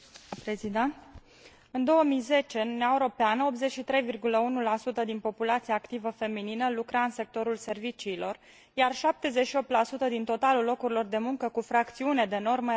În 2010, în Uniunea Europeană, 83,1 din populația activă feminină lucra în sectorul serviciilor, iar 78 din totalul locurilor de muncă cu fracțiune de normă erau ocupate de femei.